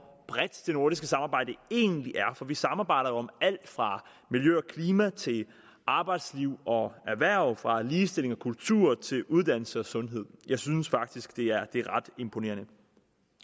bredt det nordiske samarbejde egentlig er for vi samarbejder jo om alt fra miljø og klima til arbejdsliv og erhverv og om fra ligestilling og kultur til uddannelse og sundhed jeg synes faktisk det er ret imponerende